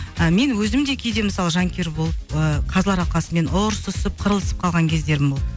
ы мен өзім де кейде мысалы жанкүйер болып ыыы қазылар алқасымен ұрсысып қырылысып қалған кездерім болды